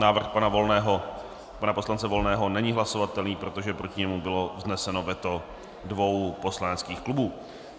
Návrh pana poslance Volného není hlasovatelný, protože proti němu bylo vzneseno veto dvou poslaneckých klubů.